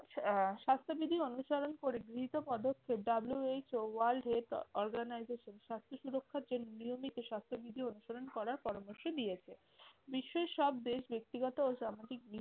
আহ স্বাস্থ্যবিধি অনুসরণ করে গৃহীত পদক্ষেপ WHO world health organization স্বাস্থ্য সুরক্ষার যে নিয়মিত স্বাস্থ্য স্বাস্থ্যবিধি অনুসরণ করার পরামর্শ দিয়েছে। বিশ্বর সব দেশ ব্যক্তিগত ও সামাজিক দিক থেকে